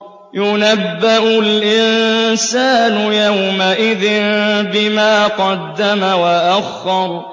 يُنَبَّأُ الْإِنسَانُ يَوْمَئِذٍ بِمَا قَدَّمَ وَأَخَّرَ